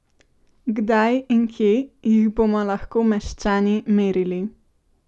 Kdaj in kje jih bomo lahko meščani merili?